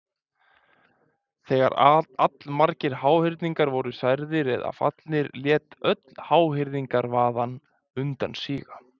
þegar allmargir háhyrningar voru særðir eða fallnir lét öll háhyrningavaðan undan síga